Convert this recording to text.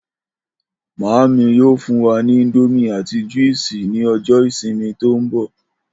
Màámi yóò fún wa ni íńdómì àti júìsì ní o̩jó̩ ìsìnmi tó ń bò̩